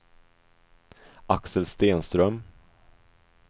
Axel Stenström